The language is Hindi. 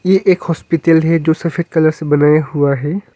यह एक हॉस्पिटल है जो सफेद कलर से बनाया हुआ है।